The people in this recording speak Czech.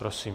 Prosím.